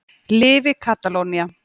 Lifi Katalónía.